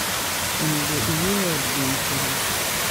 onego iywee od gwen pile